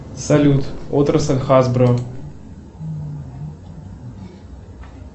салют отрасль хасбро